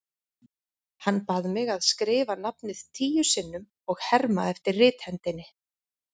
Hann bað mig að skrifa nafnið tíu sinnum og herma eftir rithendinni.